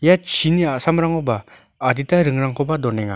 ia chini a·samrangoba adita ringrangkoba donenga.